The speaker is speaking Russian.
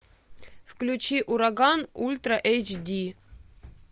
включи ураган ультра эйч ди